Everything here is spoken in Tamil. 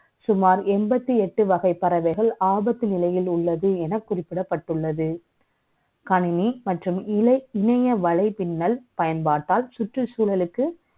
சுமார் எண்பத்தி எட்டு வகை பறவை கள், ஆபத்து நிலை யில் உள்ளது என குறிப்பிடப் பட்டுள்ளது. கணினி மற்றும் இலை, இணை ய வலை பின்னல் பயன்பாட்டால், சுற்றுச்சூழலுக்கு